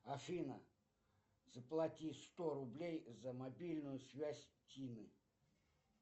афина заплати сто рублей за мобильную связь тины